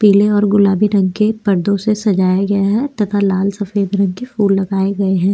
पीले और गुलाबी रंग के पर्दों से सजाया गया है तथा लाल सफेद रंग के फूल लगाए गए हैं।